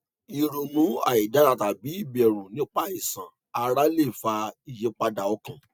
ìrònú àìdára tàbí ìbẹrù nípa àìsàn ara lè fa ìyípadà ọkàn